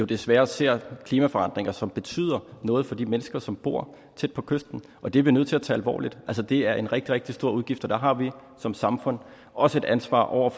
desværre ser klimaforandringer som betyder noget for de mennesker som bor tæt på kysten og det er vi nødt til at tage alvorligt altså det er en rigtig rigtig stor udgift og der har vi som samfund også et ansvar over